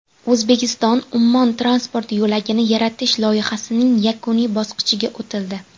O‘zbekistonUmmon transport yo‘lagini yaratish loyihasining yakuniy bosqichiga o‘tildi.